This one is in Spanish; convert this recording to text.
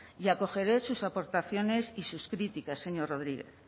y acoger sus aportaciones y sus críticas señor rodríguez